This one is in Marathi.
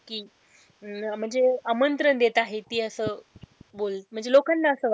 कि म्हणजे आमंत्रण देत आहे ती असं बोल म्हणजे लोकांना असं वाटत.